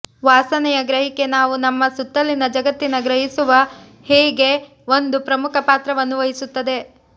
ವಾಸನೆಯ ಗ್ರಹಿಕೆ ನಾವು ನಮ್ಮ ಸುತ್ತಲಿನ ಜಗತ್ತಿನ ಗ್ರಹಿಸುವ ಹೇಗೆ ಒಂದು ಪ್ರಮುಖ ಪಾತ್ರವನ್ನು ವಹಿಸುತ್ತದೆ